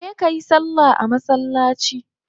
Je kayi salla a masallaci